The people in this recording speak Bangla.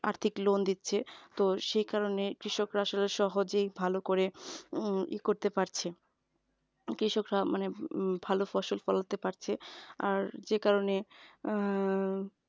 আর্থিক loan দিচ্ছে তো সেই কারণে কৃষকরা আসলে সহজেই ভাল করে উম ই করতে পারছে কৃষকরা মানে ভালো ফসল ফলাতে পাচ্ছে আর যে কারণে উম